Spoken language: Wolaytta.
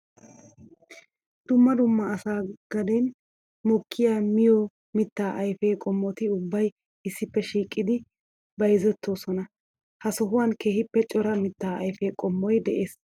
Dumma dumma asaa gaden mokiya miyo mitta ayfe qommotti ubbay issippe shiiqqiddi bayzzetossona. Ha sohuwan keehippe cora mitta ayfe qommoy de'ees.